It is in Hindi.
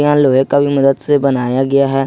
यहां लोहे का भी मदद से भी बनाया गया है।